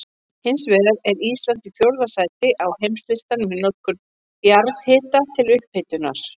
Hins vegar er Ísland í fjórða sæti á heimslistanum í notkun jarðhita til upphitunar.